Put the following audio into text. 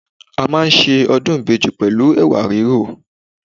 A máa ń ṣe ọdún ìbejì pẹ̀lú Ẹ̀wà rírò.